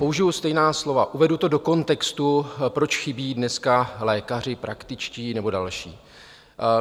Použiju stejná slova, uvedu to do kontextu, proč chybí dneska lékaři praktičtí nebo další.